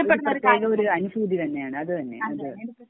ഒരു പ്രത്യേക ഒരു അനുഭൂതി തന്നെയാണ് അത് തന്നെ